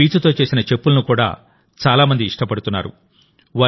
ఈ పీచుతో చేసిన చెప్పులను కూడా చాలామంది ఇష్టపడుతున్నారు